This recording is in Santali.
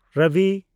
ᱨᱚᱵᱤ